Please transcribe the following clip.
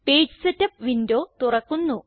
page setup window തുറക്കുന്നു